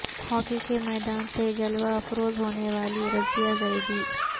hockey کے میدان سے جلوہ افروز ہونے والی رضیہ زیدی